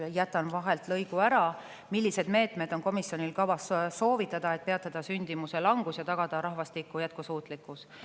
– S. R.] Millised meetmed on komisjonil kavas soovitada, et peatada sündimuse langus ja tagada rahvastiku jätkusuutlikkus?